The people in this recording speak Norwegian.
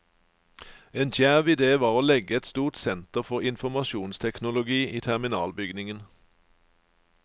En djerv idé var å legge et stort senter for informasjonsteknologi i terminalbygningen.